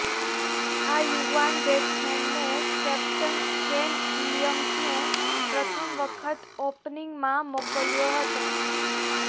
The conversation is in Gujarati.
આ યુવાન બેટ્સમેનને કેપ્ટન કેન વિલિયમ્સને પ્રથમ વખત ઓપનિંગમાં મોકલ્યો હતો